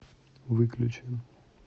выключи